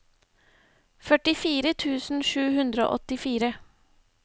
førtifire tusen sju hundre og åttifire